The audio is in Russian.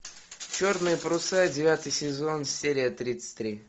черные паруса девятый сезон серия тридцать три